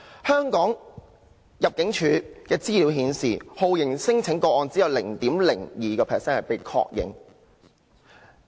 香港入境事務處的資料顯示，只有 0.02% 的酷刑聲請個案被確認。